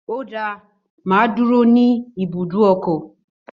Ó dáa, mà á dúró ní ibùdókọ̀